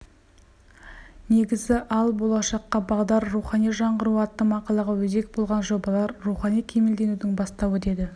негізі ал болашаққа бағдар рухани жаңғыру атты мақалаға өзек болған жобалар рухани кемелденудің бастауы деді